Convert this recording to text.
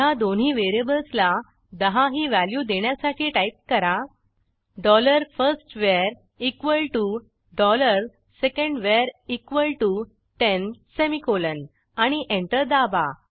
ह्या दोन्ही व्हेरिएबल्सला 10 ही व्हॅल्यू देण्यासाठी टाईप करा डॉलर फर्स्टवर इक्वॉल टीओ डॉलर सेकंडवर इक्वॉल टीओ टेन सेमिकोलॉन आणि एंटर दाबा